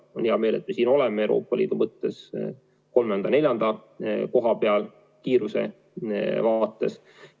Mul on hea meel, et me oleme Euroopa Liidus kolmandal-neljandal kohal kiiruse poolest.